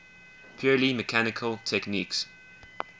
purely mechanical techniques